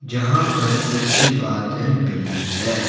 यहां पर कुछ बादल भी है।